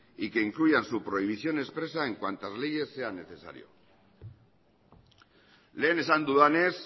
y que incluyan su prohibición expresa en cuantas leyes sea necesaria lehen esan dudanez